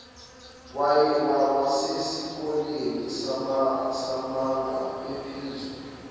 wasesikoleni samabanga aphezulu